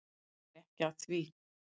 Hann er ekki að því.